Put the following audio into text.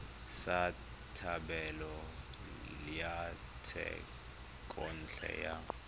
sa thebolo ya thekontle ya